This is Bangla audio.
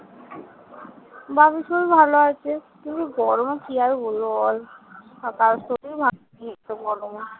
বাবুর শরীর ভালো আছে। কিন্তু গরমে কি আর বলবো বল? কারোর শরীরই ভালো নেই এতো গরমে।